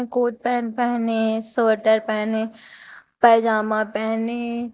coat pant पहेने sweater पहेने पैजामा पहेने--